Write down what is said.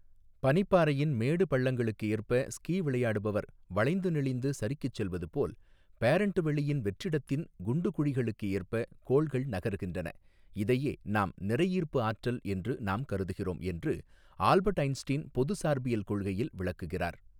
பனிப்பாறையின் மேடுபள்ளங்களுக்கேற்ப ஸ்கீ விளையாடுபவர் வளைந்து நெளிந்து சறுக்கிச் செல்வதுபோல் பேரண்ட் வெளியின் வெற்றிடத்தின் குண்டு குழிகளுக்கேற்ப கோள்கள் நகர்கின்றன இதையே நாம் நிறையீர்ப்பு ஆற்றல் என்று நாம் கருதுகிறோம் என்று ஆல்பர்ட் ஐன்ஸ்ட்டீன் பொது சார்பியல் கொள்கையில் விளக்குகிறார்.